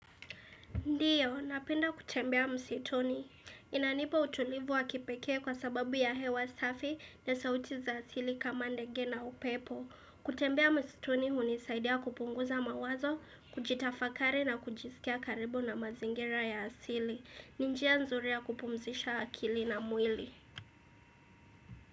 Ndiyo, napenda kutembea msituni. Inanipa utulivu wa kipekee kwa sababu ya hewa safi na sauti za asili kama ndege na upepo. Kutembea msituni hunisaidia kupunguza mawazo, kujitafakari na kujikia karibu na mazingira ya asili. Ni njia nzuri ya kupumzisha akili na mwili.